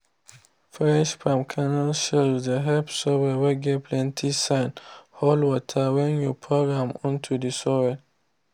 fresh palm kernel shells dey help soil whey get plenty sand hold waterwhen you pour am onto the soil.